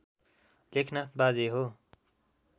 लेखनाथ बाजे हो